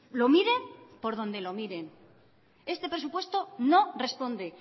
lo miren por dónde lo miren este presupuesto no responde